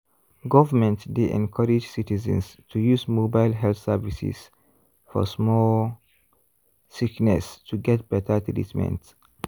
government dey encourage citizens to use mobile health services for small sickness to get better treatment.